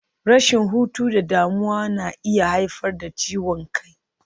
Rashin hutu da damuwa na iya haifar da ciwon kai.